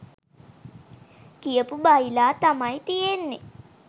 කියපු බයිලා තමයි තියෙන්නේ.